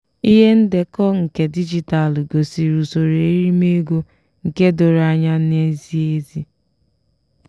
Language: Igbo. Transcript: ihe ndekọ nke digitalu gosiri usoro erime ego nke doro anya na zie ezi.